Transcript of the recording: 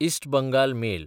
इस्ट Bengal mail